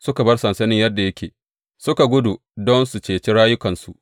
Suka bar sansanin yadda yake, suka gudu don su ceci rayukansu.